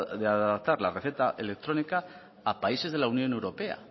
de adaptar la receta electrónica a países de la unión europea